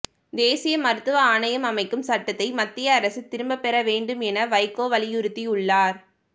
தேசிய மருத்துவ ஆணையம் அமைக்கும் சட்டத்தை மத்திய அரசு திரும்பப்பெற வேண்டும் என வைகோ வலியுறுத்தியுள்ளார்